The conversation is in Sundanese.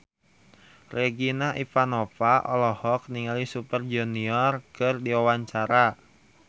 Regina Ivanova olohok ningali Super Junior keur diwawancara